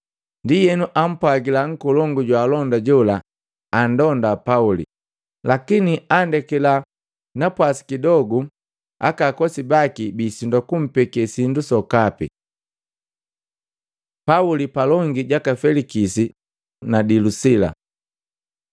Ndienu ampwagila nkolongu jwaalonda jola andonda Pauli, lakini andekakila napwasi kidogu aka akosi baki bisindwa kumpeke sindu sokapi. Pauli palongi jaka Felikisi na Dilusila